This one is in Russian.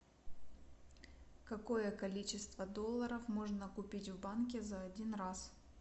какое количество долларов можно купить в банке за один раз